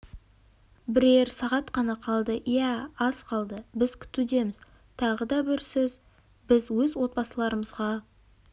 бірер сағат қана қалды иә аз қалды біз күтуліміз тағы да бір сөз біз өз отбасыларымызға